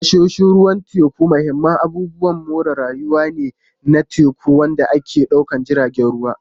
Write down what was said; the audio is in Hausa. Tashoshin ruwan teku mahimman abubuwan more rayuwa ne na teku waɗanda ke ɗaukar jiragen ruwa.